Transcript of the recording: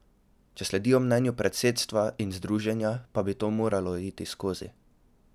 Če sledijo mnenju predsedstva in združenja, pa bi to moralo iti skozi.